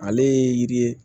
Ale ye yiri ye